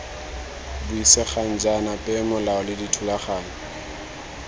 buisegang jaana peomolao le dithulaganyo